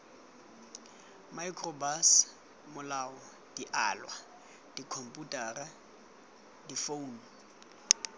microbus malao dialwa dikhomputara difounu